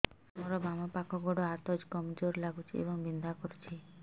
ସାର ମୋର ବାମ ପାଖ ଗୋଡ ହାତ କମଜୁର ଲାଗୁଛି ଏବଂ ବିନ୍ଧା କରୁଛି